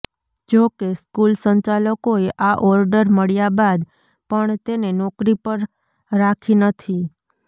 જોકે સ્કૂલ સંચાલકોએ આ ઓર્ડર મળ્યાં બાદ પણ તેને નોકરી પર રાખી નથી